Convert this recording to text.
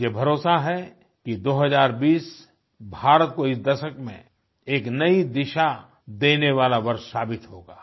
मुझे भरोसा है कि 2020 भारत को इस दशक में एक नयी दिशा देने वाला वर्ष साबित होगा